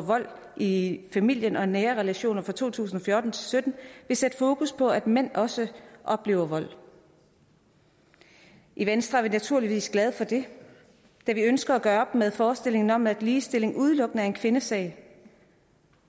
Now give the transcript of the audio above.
vold i familien og i nære relationer fra to tusind og fjorten og sytten vil sætte fokus på at mænd også oplever vold i venstre er vi naturligvis glade for det da vi ønsker at gøre op med forestillingen om at ligestilling udelukkende er en kvindesag